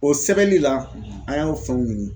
O sɛbɛnli la an y'an fɛnw ɲini